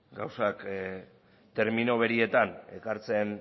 gauzak termino berdinetan ekartzen